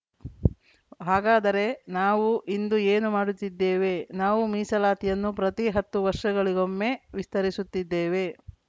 ಹಾಗಾದರೆ ನಾವು ಇಂದು ಏನು ಮಾಡುತ್ತಿದ್ದೇವೆ ನಾವು ಮೀಸಲಾತಿಯನ್ನು ಪ್ರತಿ ಹತ್ತು ವರ್ಷಗಳಿಗೊಮ್ಮೆ ವಿಸ್ತರಿಸುತ್ತಿದ್ದೇವೆ